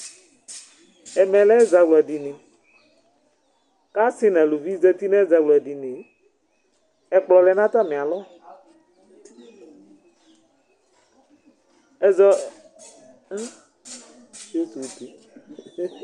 Ɛmɛ l'ɛzawla dini k'asi n'aluvi zati n'ɛzawla dini, ɛkplɔ lɛ n'atami alɔ ɛzɔ